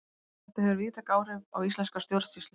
þetta hefur víðtæk áhrif á íslenska stjórnsýslu